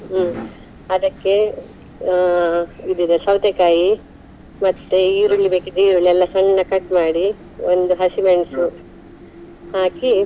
ಹ್ಮ್ ಅದಕ್ಕೆ ಅಹ್ ಇದು ಇದೇ ಸೌತೆಕಾಯಿ, ಮತ್ತೆ ಈರುಳ್ಳಿ ಬೇಕಿದ್ರೆ ಈರುಳ್ಳಿ ಎಲ್ಲಾ ಸಣ್ಣ cut ಮಾಡಿ ಒಂದು ಹಸಿ ಮೆಣಸು ಹಾಕಿ.